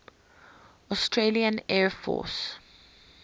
australian air force